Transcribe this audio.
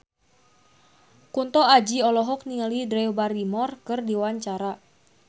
Kunto Aji olohok ningali Drew Barrymore keur diwawancara